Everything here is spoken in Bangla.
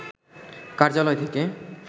কার্যালয় থেকে